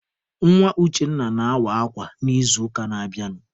Nwa Uchenna na-awa akwa n'izuụka na-abịanụ.